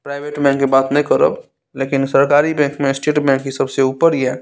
Private bank के बात ते ने करब लेकिन सरकारी बैंक में स्टेट बैंक ही सबसे ऊपर ये।